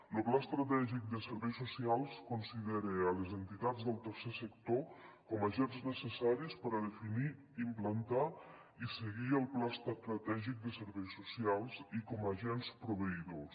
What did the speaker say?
lo pla estratègic de serveis socials considera les entitats del tercer sector com a agents necessaris per a definir implantar i seguir el pla estratègic de serveis socials i com a agents proveïdors